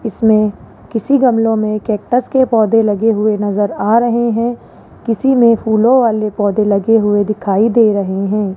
इसमें किसी गमले में कैक्टस के पौधे लगे हुए नजर आ रहे हैं किसी में फूलों वाले पौधे लगे हुए दिखाई दे रहे है।